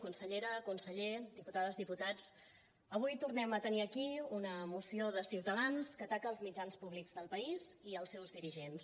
consellera conseller diputades diputats avui tornem a tenir aquí una moció de ciutadans que ataca els mitjans públics del país i els seus dirigents